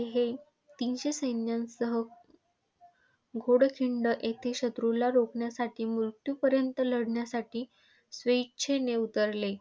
हे तीनशे सैन्यांसह घोडखिंड येथे शत्रुला रोखण्यासाठी, मृत्यूपर्यंत लढण्यासाठी स्वेच्छेने उतरले.